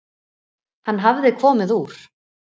Hann hafði komið úr